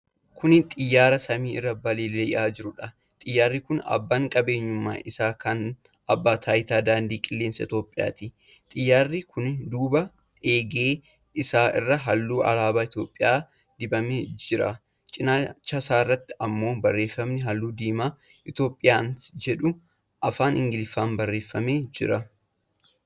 Kuni xiyyaara samii irra balali'aa jruudha. Xiyyaarri kun abbaan qabeenyummaa isaa kan Abbaa Taayitaa Daandii Qilleensa Itoophiyaati. Xiyyaarri kun duuba eegee isaa irraa halluu alaabaa Itoophiyaa dibamee jira. cinaasarratti ammoo barreefami halluu diimaan "Itoophiyaans" jedhu afaan Ingiliffaan barreefamee jira.